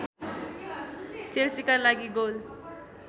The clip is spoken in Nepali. चेल्सीका लागि गोल